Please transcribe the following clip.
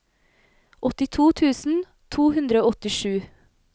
åttito tusen to hundre og åttisju